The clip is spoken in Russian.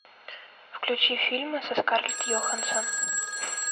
включи фильмы со скарлетт йоханссон